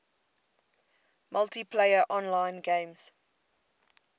multiplayer online games